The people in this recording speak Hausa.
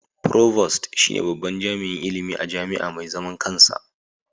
Provost shine babban jami'in ilimi a jami'a mai zaman kansa.